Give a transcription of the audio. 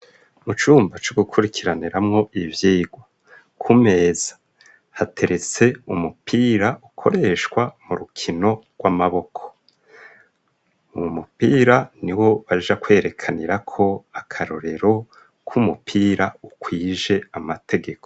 Mu cumba co gukurikiraniramwo ivyigwa, kumeza, hateretse umupira ukoreshwa mu rukino rw'amaboko, u mupira ni wo baja kwerekanirako Akarorero k'Umupira ukwije Amategeko.